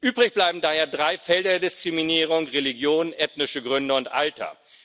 Übrig bleiben daher drei Felder der Diskriminierung Religion, ethnische Gründe und Alter.